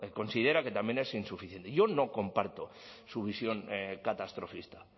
considera que también es insuficiente y yo no comparto su visión catastrofista